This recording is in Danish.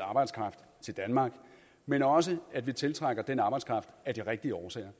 arbejdskraft til danmark men også at vi tiltrækker den arbejdskraft af de rigtige årsager